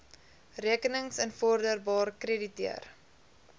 rekenings invorderbaar krediteure